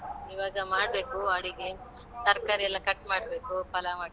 ಈವಾಗ ಮಾಡ್ಬೇಕು ಅಡುಗೆ ತರ್ಕಾರಿ ಎಲ್ಲ cut ಮಾಡ್ಬೇಕು ಪಲಾವ್ ಮಾಡ್ಲಿಕ್ಕೆಲ್ಲಾ.